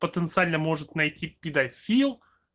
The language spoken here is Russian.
потенциально может найти педофил